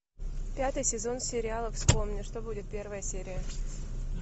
пятый сезон сериала вспомни что будет первая серия